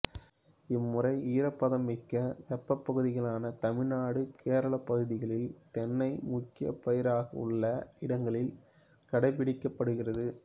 இம்முறை ஈரப்பதமிக்க வெப்பப் பகுதிகளான தமிழ்நாடுகேரளா பகுதிகளில் தென்னை முக்கியப் பயிராகவுள்ள இடங்களில் கடைப்பிடிக்கப்படுகிறது